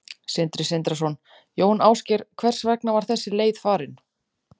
Sindri Sindrason: Jón Ásgeir, hvers vegna var þessi leið farin?